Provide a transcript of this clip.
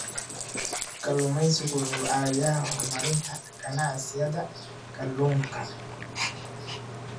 Kalluumeysigu wuxuu caawiyaa horumarinta ganacsiyada kalluunka.